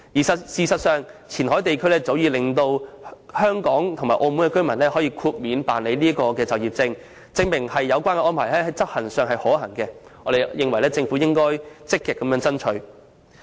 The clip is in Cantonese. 事實上，前海地區早前已豁免港澳居民辦理就業證，證明有關安排在執行上屬可行，政府應積極爭取。